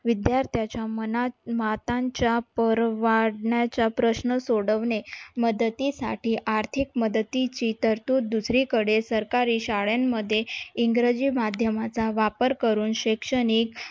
विद्यार्थ्याच्या मनात मातांच्या प्रश्न सोडवणे मदतीसाठी आर्थिक ममदतीची तरतूद दुसरीकडे सरकारी शाळांमध्ये इंग्रजी माध्यमाचा वापर करून शैक्षणिक